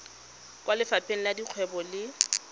kwa lefapheng la dikgwebo le